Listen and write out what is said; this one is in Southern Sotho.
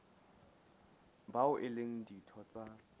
bao e leng ditho tsa